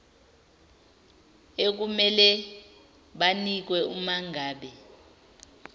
ekumele banikwe umangabe